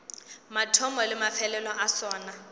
mathomo le mafelelo a sona